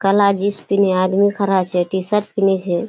काला जीन्स पीन्हे आदमी खड़ा छै टी-शर्ट पिनह छै।